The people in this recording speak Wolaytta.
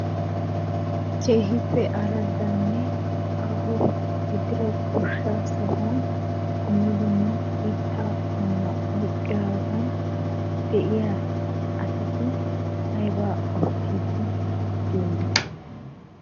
Keehippe arraddanne aaho gidida goshshaa sohuwan dumma dumma miittaa qommo oyqqidaagan de"iyaa asati aybaa oottiiddi de"iyoonaa?